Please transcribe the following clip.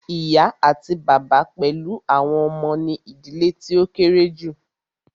Ìyá àti bàbá pẹlú àwọn ọmọ ní ìdílé tí o kéré julọ.